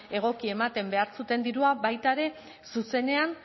egoki ematen behar zuten dirua baita ere zuzenean